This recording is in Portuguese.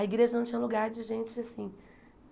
A igreja não tinha lugar de gente assim.